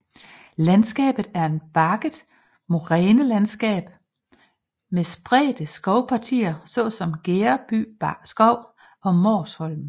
Landskabet er et bakket morænelandskab med spredte skovpartier såsom Gereby Skov og Måsholm